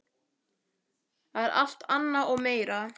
Það er alt annað og meira.